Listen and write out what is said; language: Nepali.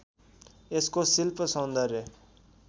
यसको शिल्‍प सौन्दर्य